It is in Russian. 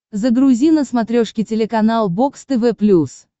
загрузи на смотрешке телеканал бокс тв плюс